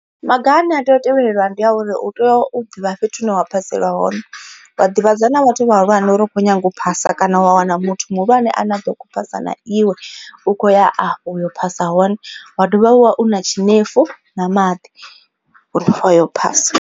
Maga ane a tea u tevhelwa ndi a uri u tea u ḓivha fhethu hune wa phasela hone. Wa ḓivhadza na vhathu vhahulwane uri u kho nyaga u phasa kana wa wana muthu muhulwane a ne a ḓo kho phasa na iwe u kho ya afho u yo phasa hone. Wa dovha wa vha u na tshinefu na maḓi a u yo phasa.